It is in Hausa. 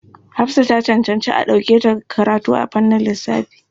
Hafsa ta cancanci a ɗauke ta karatu a fannin lissafi.